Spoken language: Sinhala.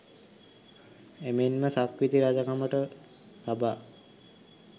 එමෙන්ම සක්විති රජකමට තබා